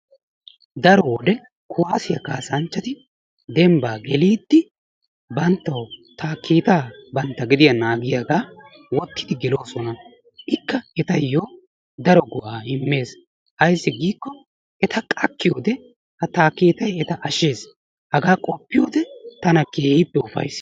Daro wode kuwaasiya kassanchchati dembbaa geliidi banttawu taakkeetaa bantta bantta gediyan wottidi geloosona. Etayo daro go'aa immees ayssi giikko eta qakkiyode ha taakkeettay eta ashshees hagaa qoppiyode tana keehippe ufayssees.